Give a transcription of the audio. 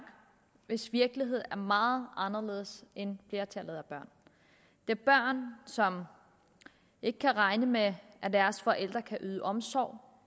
hvis virkelighed er meget anderledes end flertallet af børns det er børn som ikke kan regne med at deres forældre kan yde omsorg